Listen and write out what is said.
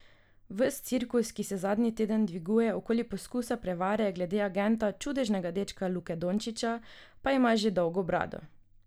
Ves cirkus, ki se zadnji teden dviguje okoli poskusa prevare glede agenta čudežnega dečka Luke Dončića, pa ima že dolgo brado.